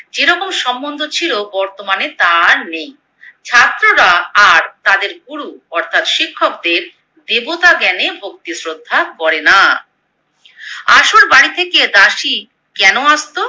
যেরকম সম্বন্ধ ছিলো বর্তমানে তা আর নেই। ছাত্ররা আর তাদের গুরু অর্থাৎ শিক্ষকদের দেবতা জ্ঞানে ভক্তি শ্রদ্ধা করেনা। আশুর বাড়ি থেকে দাসী কেনো আসতো?